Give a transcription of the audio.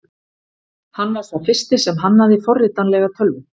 Hann var sá fyrsti sem hannaði forritanlega tölvu.